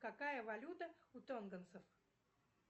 какая валюта у тонгонцев